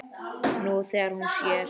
Nú þegar hún sér.